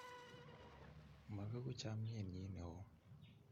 Mabegu chamnyennyi ne o.